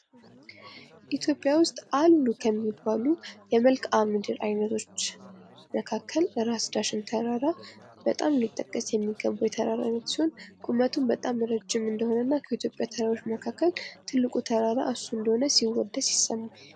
ኢትዮጵያ ውስጥ አሉ ከሚባሉ የመልክዓ ምድር ዓይነቶች መካከል ራስ ዳሽን ተራራ በጣም ሊጠቀስ የሚገባው የተራራ አይነት ሲሆን፤ ቁመቱም በጣም ረጅም እንደሆነና ከኢትዮጵያ ተራሮች መካከል ትልቁ ተራራ እሱ እንደሆነ ሲወደስ ይሰማል።